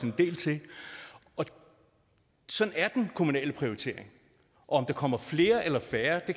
en del til sådan er den kommunale prioritering om der kommer flere eller færre